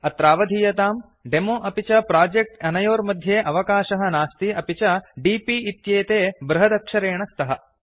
अत्रावधीयताम् demo अपि च project अनयोर्मध्ये अवकाशः नास्ति अपि च D P इत्येते बृहदक्षरेण स्तः